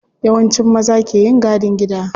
Yawanci maza ke yin gadin gida.